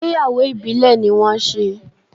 Ìgbéyàwó Ìbílẹ̀ ní wọ́n ṣe.